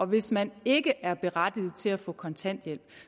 hvis man ikke er berettiget til at få kontanthjælp